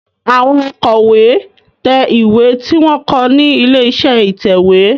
Àwọn Àkò ìwé tẹ̀ ìwé tí wón kọ ní ilé-iṣẹ́ ìtẹ̀wé.